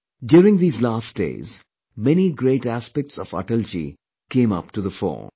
During these last days, many great aspects of Atalji came up to the fore